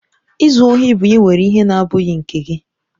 Izu ohi bụ ịwere ihe na-abụghị nke gị.